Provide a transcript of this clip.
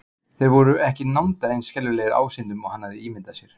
Þeir voru ekki nándar eins skelfilegir ásýndum og hann hafði ímyndað sér.